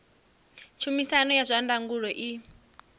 tshumisano ya zwa ndangulo i